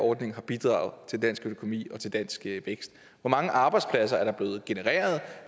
ordning har bidraget til dansk økonomi og til dansk vækst hvor mange arbejdspladser er der blevet genereret